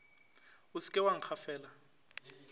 o se ke wa nkgafela